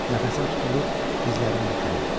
Nəfəsim tutulur, dizlərim bükülürdü.